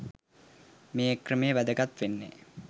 මේක්‍රමය වැදගත් වෙන්නේ